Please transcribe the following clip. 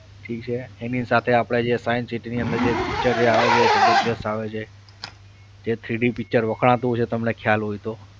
ઠીક છે એની સાથે આપણે જે science city ની અંદર જે picture આવે છે એ જબરજસ્ત આવે છે જે three D picture વખણાતું હશે તમને ખ્યાલ હોય તો.